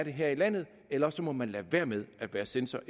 her i landet ellers må man lade være med at være censor